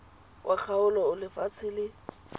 wa kgaolo o lefatshe le